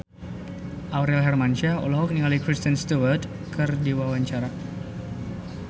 Aurel Hermansyah olohok ningali Kristen Stewart keur diwawancara